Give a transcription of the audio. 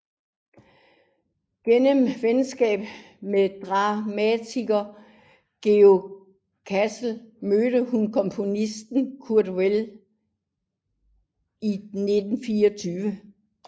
Gennem venskabet med dramatiker Georg Kaiser mødte hun komponisten Kurt Weill i 1924